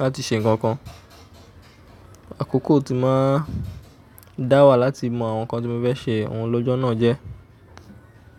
láti ṣe nǹkan kan. Àkókò tí ń máa ń dá wà láti mọ àwọn nǹkan tí mo fẹ́ ṣe òun lọ́jọ́ náà jẹ́.